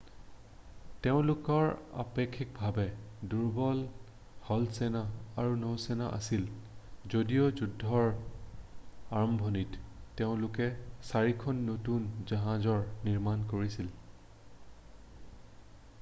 তেওঁলোকৰ অপেক্ষিকভাৱে দুৰ্বল স্থলসেনা আৰু নৌসেনা আছিল যদিও যুদ্ধৰ আৰম্ভণিতে তেওঁলোকে চাৰিখন নতুন জাহাজৰ নিৰ্মাণ কৰিছিল